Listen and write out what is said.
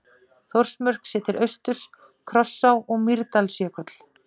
Þórsmörk séð til austurs, Krossá og Mýrdalsjökull.